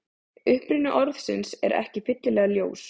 Uppruni orðsins er ekki fyllilega ljós.